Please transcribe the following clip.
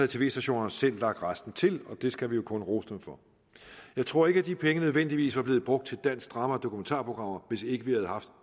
tv stationerne selv lagt resten til og det skal vi jo kun rose dem for jeg tror ikke at de penge nødvendigvis var blevet brugt til dansk drama og danske dokumentarprogrammer hvis ikke vi havde haft